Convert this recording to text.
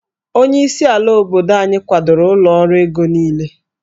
Onyeisi ala obodo anyị kwadoro ụlọ ọrụ ego niile